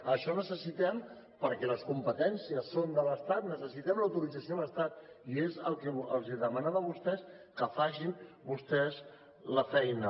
això necessitem perquè les competències són de l’estat l’autorització de l’estat i és el que els demanava a vostès que facin vostès la feina